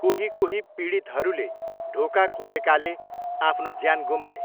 कोही कोही पीडितहरूले ढोका खोलेकाले आफ्नो ज्यान गुमाए।